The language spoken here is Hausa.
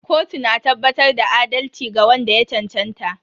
Kotu na tabbatar da adalci ga wanda ya cancanta.